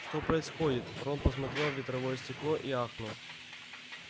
что происходит рон посмотрел в ветровое стекло и ахнул